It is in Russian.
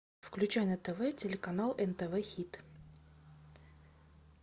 включай на тв телеканал нтв хит